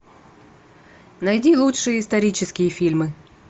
найди лучшие исторические фильмы